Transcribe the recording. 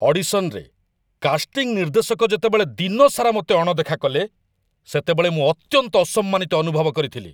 ଅଡିଶନରେ, casting ନିର୍ଦ୍ଦେଶକ ଯେତେବେଳେ ଦିନସାରା ମୋତେ ଅଣଦେଖା କଲେ, ସେତେବେଳେ ମୁଁ ଅତ୍ୟନ୍ତ ଅସମ୍ମାନିତ ଅନୁଭବ କରିଥିଲି।